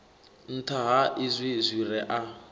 nṱha ha izwi zwire a